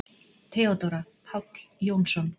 THEODÓRA: Páll Jónsson!